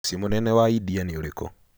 Mũciĩ mũnene wa India nĩ ũrĩkũ?